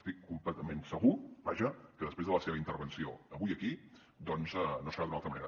estic completament segur vaja que després de la seva intervenció avui aquí doncs no serà d’una altra manera